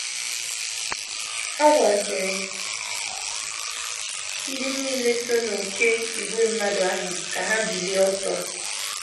Ọ gwaziri ndị nile so n’oké ìgwè mmadụ ahụ ka ha bilie ọtọ.